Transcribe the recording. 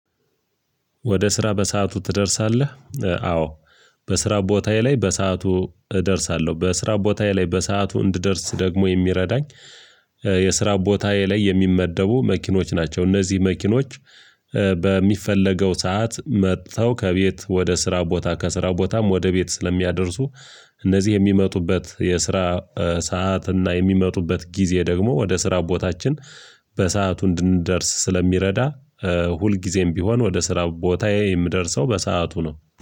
ወደ ስራ በሰአቱ ትደርሳለህ? አዎ። በስራ ቦታዬ ላይ በሰአቱ እደርሳለሁ በስራ ቦታዬ ላይ በሰአቱ እንድደርስ ደግሞ የሚረዳኝ የስራ ቦታዬ ላይ የሚመደቡ መኪኖች ናቸው። እነዚህ መኪኖች በሚፈለገው ሰዓት መጥተው ከቤት ወደ ስራ ቦታ ከስራ ቦታም ወደ ቤት ስለሚያደርሱ። እነዚህ የሚመጡበት የስራ ሰዓት እና የሚመጡበት ጊዜ ደግሞ ወደ ስራ ቦታችን በሰአቱ እንድንደርስ ስለሚረዳ። ሁልጊዜም ቢሆን ወደ ስራ ቦታዬ የምደርሰው በሰአቱ ነው